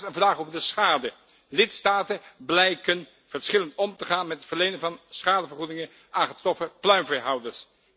Daarnaast een vraag over de schade lidstaten blijken verschillend om te gaan met het verlenen van schadevergoedingen aan getroffen pluimveehouders.